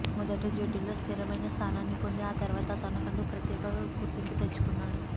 మొదట జట్టులో స్థిరమైన స్థానాన్ని పొంది ఆ తర్వాత తనకంటూ ఓ ప్రత్యేక గుర్తింపు తెచ్చుకున్నాడు